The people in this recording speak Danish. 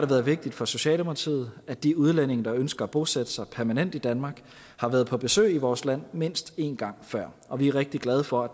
været vigtigt for socialdemokratiet at de udlændinge der ønsker at bosætte sig permanent i danmark har været på besøg i vores land mindst en gang før og vi er rigtig glade for at